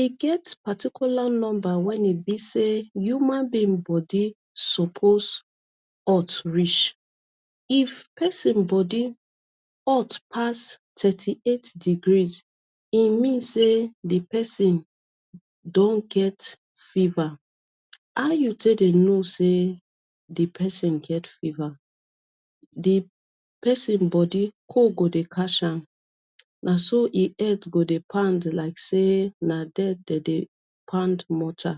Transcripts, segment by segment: e get particular numba wen e be say youman being bodi suppose hot reach if pesin body hot pass thirty eight degree e mean say di pesin don get fever how you take dey no say di pesin get fever di pesin bodi cold go dey catch am na so e head go dey pand like say na there dey dey pound molter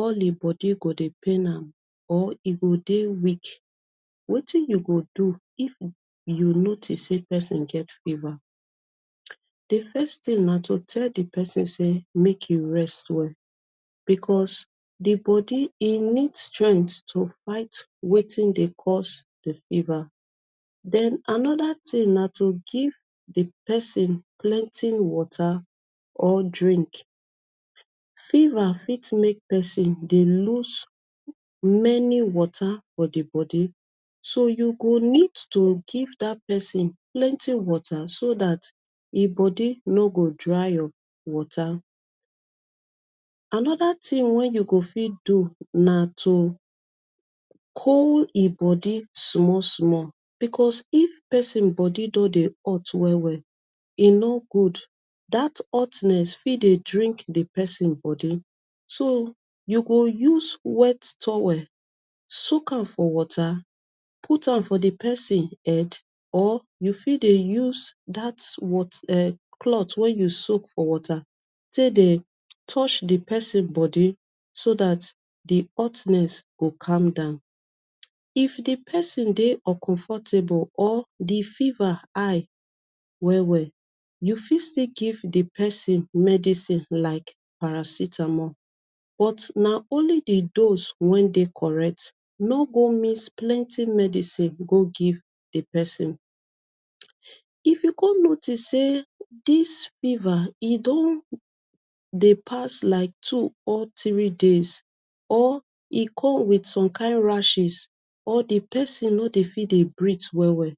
all e bodi go dey pain am or e dey weak wetin you go do if you notice di pesin get fever di first tin na to tell di person say make e rest well becos e bodi e need strength to fight wetin dey cause den anoda tin na to give di pesin plenty water or drink fever fit make pesin lose many water for di bodi so you go need to give dat pesin plenty water so dat e bodi no he dry up water anoda tin way you go fit do na to cold him bodi small small becos if pesin bodi don dey otu well well e no good dat otness fit dey drink di pesin bodi so you go use wet towel soak am for water put am for di pesin head or you fit dey use dat wot e cloth you soak for water take dey touch di pesin bodi so dat di otness go calm down if di pesin dey uncomfortable or di fever I well well you fit still give di pesin medicine like paracetamol but na only di dose wen dey correct no go mix plenty medicine go give di pesin if you come notice say dis fever dey pass like two or three days or e come wit some kind rashes or di pesin no dey fit dey breath well well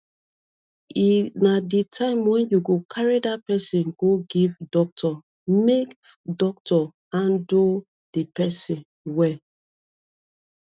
e na di time wen you fit carry di pesin go ive doctor make doctor andle di pesin well.